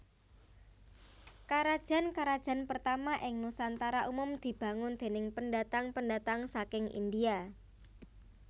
Karajan karajan pertama ing Nusantara umum dibangun déning pendatang pendatang saking India